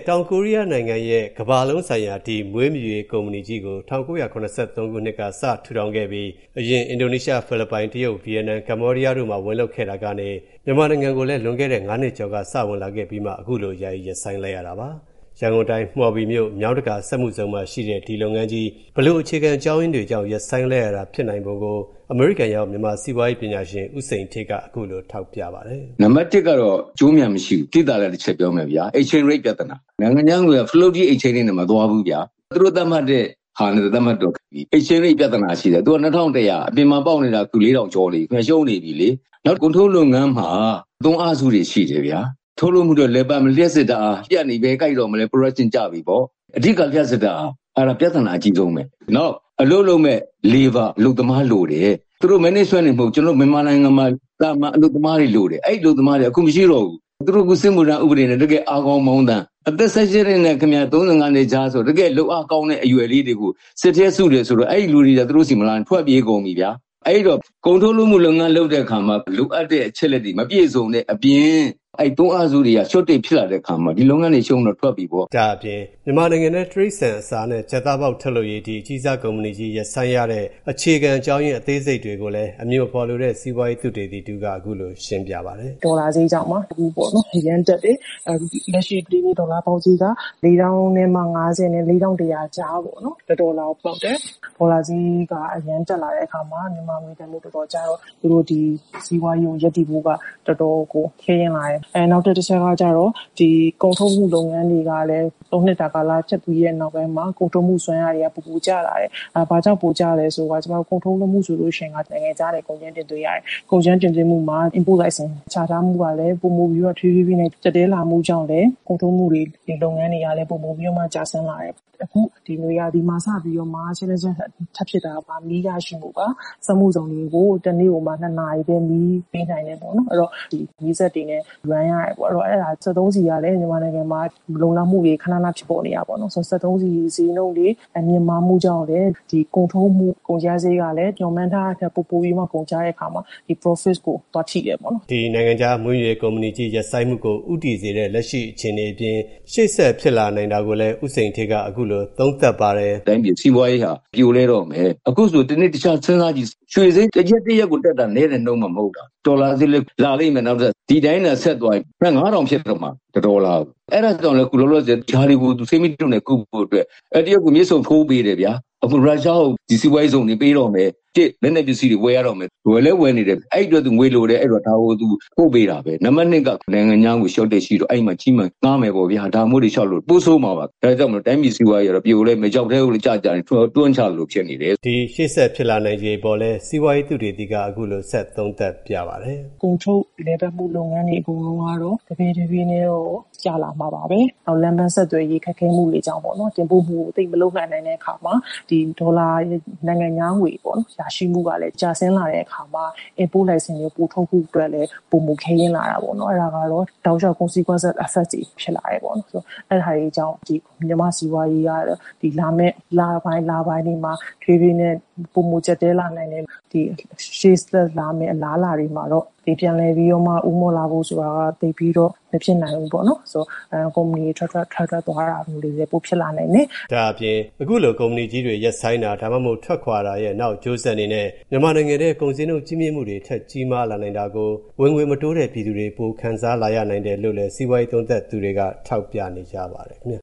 တောင်ကိုရီးယားနိုင်ငံရဲ့ ကမ္ဘာလုံးဆိုင်ရာ ဒီ မွေးမြူရေးကုမ္မဏီကြီးကို ၁၉၇၃ ခုနှစ်က စထူတောင်ခဲ့ပြီး အရင် အင်ဒိုနီးရှား၊ ဖီလစ်ပိုင်၊ တရုတ်၊ ဗီယက်နမ်၊ ကမ္ဘောဒီးယားတို့မှာ ဝင်လုပ်ခဲ့တာကနေ မြန်မာနိုင်ငံကိုလည်း လွန်ခဲ့တဲ့ ၅ နှစ်ကျော်က စဝင်လာခဲ့ပြီးမှ အခုလို ယာယီရပ်ဆိုင်းလိုက်ရတာပါ။ ရန်ကုန်တိုင်း မှောဘီမြို့ မြောင်းတကာစက်မှုဇုံမှာရှိတဲ့ ဒီလုပ်ငန်းကြီး၊ ဘယ်လို အခြေခံအကြောင်းရင်းတွေကြောင့် ရပ်ဆိုင်းလိုက်ရတာဖြစ်နိုင်ပုံကို အမေရိကန်ရောက် မြန်မာစီးပွားရေး ပညာရှင် ဦးစိန်ဌေးက အခုလို ထောက်ပြပါတယ်။ "နံပါတ် ၁ ကတော့ အကျိုးအမြတ်မရှိဘူး။ သိသာတာတချက်ပြောမယ်ဗျာ exchange rate ပြဿနာ၊ နိုင်ငံခြားငွေလဲနှုန်းက floating exchange rate နဲ့ မသွားဘူးဗျာ၊ သူတို့သတ်မှတ်တဲ့ဟာနဲ့သွားတော့ ပြဿနာရှိတယ်။ သူက ၂၁၀၀ အပြင်မှာပေါက်နေတာက အခု ၄၀၀၀ ကျော်နေပြီ။ ရှုံးနေပြီလေ။ နောက် ကုန်ထုတ်လုပ်ငန်းမှာ သွင်းအားစုတွေရှိတယ်ဗျာ၊ ထုတ်လုပ်မှုအတွက်လည်ပတ်မယ့် လျှပ်စစ်ဓာတ်အားပျက်နေရင် ဘယ်ကိုက်မလဲဗျာ၊ production ကျပြီပေါ့။ အဓိက လျှပ်စစ်ဓာတ်အား၊ အဲဒါပြဿနာအကြီးဆုံးပဲ။ နောက် အလုပ်လုပ်မယ့် အလုပ်သမားလိုတယ်။ သူတို့ management တွေတင်မဟုတ်ဘူး ကျွန်တော်တို့မြန်မာနိုင်ငံမှာ သာမန်အလုပ်သမားတွေလိုတယ်။ အဲဒီအလုပ်သမားတွေက အခုမရှိတော့ဘူး။ သူတို့အခု စစ်မှုထမ်းဥပဒေနဲ့ တကယ့် အားကောင်းမောင်းသန် အသက် ၁၈ နှစ်နဲ့ ၃၅ နှစ်ကြား တကယ့်လုပ်အားကောင်းတဲ့ အရွယ်လေးတွေကို စစ်ထဲစုတယ်ဆိုတော့ အဲဒီလူတွေက သူတို့ဆီမလာချင် ထွက်ပြေးကုန်ပြီဗျာ၊ အဲဒီတော့ ကုန်ထုတ်လုပ်ငန်းလုပ်တဲ့အခါမှာ လိုအပ်တဲ့ အချက်အလက်တွေမပြည့်စုံတဲ့အပြင် သွင်းအားစုလုပ်ငန်းတွေက shortage ဖြစ်လာတဲ့အခါမှာ ဒီလုပ်ငန်းတွေကရှုံးတော့ ထွက်ပြီပေါ့" မြန်မာနိုင်ငံထဲ တိရစ္ဆာန်အစာနဲ့ကြက်သားပေါက် ထုတ်လုပ်ရေး ဒီ အကြီးစားကုမ္ပဏီကြီး ရပ်ဆိုင်းရတဲ့ အခြေခံ အကြောင်းရင်း အသေးစိတ်တွေကို အမည်မဖော်လိုတဲ့ စီးပွားရေး သုတေသီ တဦးကလည်း အခုလို ရှင်းပြပါတယ်။ "ဒေါ်လာဈေးကြောင့်ပါ အခုအရမ်းတက်တယ်။ လက်ရှိဒီနေ့ ဒေါ်လာပေါက်ဈေးက ၄၀၅၀ နဲ့ ၄၁၀၀ ကြားပေါက်တယ်။ ဒေါ်လာဈေးက အရမ်းတက်လာတဲ့အခါမှာ ငွေတန်ဖိုးတော်တော်ကျတော့ သူတို့စီးပွားရေးရပ်တည်ဖို့က တော်တော်ကို ခဲယဉ်းလာတယ်။ နောက်တခုက သုံးနှစ်တာကာလကျပ်ပြီးတဲ့နောက်ပြီးမှာ ကုန်ထုတ်လုပ်မှုတွေက ပိုပိုပြီးတော့ ကျလာတယ်။ ဘာကြောင့်ပိုကျလာလဲဆိုရင် ကျွန်မတို့ ကုန်ထုတ်လုပ်မှုဆိုလို့ရှိရင် နိုင်ငံခြားကနေ ကုန်ကြမ်းတင်သွင်းရတယ်။ ကုန်ကြမ်းတင်သွင်းမှုမှာ import လိုင်စင် ချထားမှုကလည်း ပိုပိုပြီးတော့ တဖြေးဖြေးနဲ့ ကျပ်တည်းလာတဲ့အတွက်ကြောင့်မို့လို့လည်း ကုန်ထုတ်လုပ်မှုတွေ လုပ်ငန်းတွေကလည်း ပိုပိုပြီးတော့မှ ကျဆင်းလာတယ်။ အခုနွေရာသီမှာ စပြီးတော့မှ challenges ထပ်ဖြစ်တာက ဘာလဲဆိုတော့ မီးရရှိဖို့ပါ။ စက်မှုဇုန်တွေကို တနေ့ကိုမှ နှစ်နာရီပဲ မီးပေးနိုင်တယ်။ အဲဒီတော့ မီးစက်တွေနဲ့ Run ရတယ်ပေါ့။ စက်သုံးဆီကလည်း မြန်မာနိုင်ငံမှာ မလုံလောက်မှုတွေ ခဏခဏဖြစ်ပေါ်နေတာပေါ့နော်။ စက်သုံးဆီဈေးနှုန်းတွေ မြင့်မားမှုကြောင့်လည်း ဒီကုန်ထုတ်မှုကုန်ကျစရိတ်က မျှော်မှန်းထားတာထက် ပိုပိုပြီးမှ ကုန်ကျတဲ့အခါမှာ ဒီ profit ကို သွားထိတယ်ပေါ့နော် " ဒီ နိုင်ငံခြား မွေးမြူရေးကုမ္ပဏီကြီး ရပ်ဆိုင်းမှုကို ဦးတည်စေတဲ့ လက်ရှိအခြေအနေအပြင် ရှေ.ဆက်ဖြစ်လာနိုင်တာကိုလည်း ဦးစိန်ဌေးက အခုလို သုံးသပ်ပါတယ်။ "တိုင်းပြည်စီးပွားရေးဟာ ပြိုလဲတော့မယ်။ အခုဆို တနေ့တခြား စဉ်းစားကြည့် ရွှေဈေး တရက်တရက်ကိုတက်တာ နည်းတဲ့နှုန်းမှ မဟုတ်တာ ဒေါ်လာဈေးလည်း လာလိမ့်မယ်။ ဒီတိုင်းသာ ဆက်သွားရင် ၅၀၀၀ ဖြစ်သွားမှာ တဒေါ်လာကို။ ဒါတွေကို ဆေးမြီးတိုနဲ့ကုဖို့အတွက် တရုတ်ကိုမြစ်ဆုံထိုးပေးတယ်ဗျာ။ ရုရှားကို စီးပွားရေးဇုန်တွေပေးတော့မယ်။ တစ်အချက် - လက်နက်ပစ္စည်းတွေဝယ်ရတော့မယ်။ ဝယ်လည်းဝယ်နေတယ်။ အဲဒီတော့ ငွေလိုတယ်။ ဒါကို သူပို့ပေးတာပဲ။ နံပါတ် ၂ နိုင်ငံခြားငွေ မလုံလောက်မှု ဖြစ်တော့ အဲဒီမှာ ချေးမယ်ငှားမယ်ပေါ့ဗျာ၊ ဒါမျိုးတွေလျှောက်လုပ်တာ။ ပိုဆိုးမှာပေါ့ဗျာ။ ဒါကြောင့် တိုင်းပြည်စီးပွားရေးက ပြိုလဲမယ်။ ချောက်ထဲကို တွန်းတွန်းချသလိုဖြစ်နေတယ် " ဒီ ရှေ.ဆက်ဖြစ်လာနိုင်ခြေအပေါ်လည်း စီးပွားရေးသုတေသီက အခုလို ဆက် သုံးသပ်ပြပါတယ်။ "ကုန်ထုတ်လည်ပတ်မှုလုပ်ငန်းတွေအကုန်လုံးကတော့ တဖြေးတဖြေးနဲ့တော့ ကျလာမှာပါပဲ။ လမ်းပန်းဆက်သွယ်ရေးခက်ခဲမှုတွေကြောင့်ပေါ့နော်။ တင်ပို့မှုတွေသိပ်မလုပ်နိုင်တဲ့အခါမှာ နိုင်ငံခြားငွေရရှိမှုကလည်း ကျဆင်းလာတဲ့အခါမှာ import လိုင်စင်တွေ ပိုထုတ်ဖို့အတွက်လည်း ပိုမိုခဲယဉ်းလာတာပေါ့နော်။ အဲဒါက တောက်လျှောက် consequences effects တွေဖြစ်လာတာပေါ့နော်။ အဲဒါတွေကြောင့် မြန်မာ့စီးပွားရေးကတော့ လာမယ့်လပိုင်းတွေမှာ တဖြေးဖြေးနဲ့ ပိုမိုကျပ်တည်းလာမယ်။ ရှေ့ဆက်အလားအလာတွေမှာတော့ ပြန်လည်ပြီးတော့မှ ဦးမော့လာဖို့ဆိုတာက သိပ်ပြီးတော့ မဖြစ်နိုင်ဘူးပေါ့နော်။ ကုမ္ပဏီတွေ ထွက်ထွက်ထွက်ထွက် သွားတာမျိုးတွေလည်း ပိုဖြစ်လာနိုင်တယ်" ဒါ့အပြင် အခုလို ကုမ္ပဏီကြီးတွေ ရပ်ဆိုင်းတာ ထွက်ခွာတာရဲ့ နောက်အကျိုးဆက်အနေနဲ့ မြန်မာနိုင်ငံထဲ ကုန်ဈေးနှုန်းကြီးမြင့်မှုတွေ ထပ်ကြီးမားလာနိုင်တာကို ဝင်ငွေမတိုးတဲ့ ပြည်သူတွေ ပိုခံစားလာရနိုင်တယ်လို့ စီးပွားရေးသုံးသပ်သူတွေက ထောက်ပြနေကြပါတယ် ခင်ဗျ